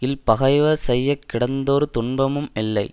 இல் பகைவர் செய்ய கிடந்தொரு துன்பமும் இல்லை